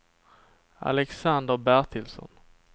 Alexander Bertilsson